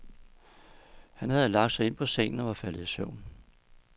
Han havde lagt sig ind på sengen og var faldet i søvn.